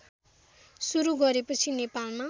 सुरू गरेपछि नेपालमा